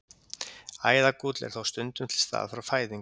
Æðagúll er þó stundum til staðar frá fæðingu.